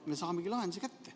Me saamegi lahenduse kätte.